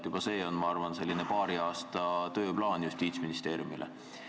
Juba see on, ma arvan, Justiitsministeeriumi selline paari aasta tööplaan.